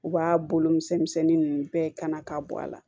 U b'a bolo misɛnnin ninnu bɛɛ kana ka bɔ a la